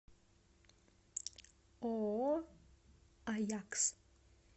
ооо аякс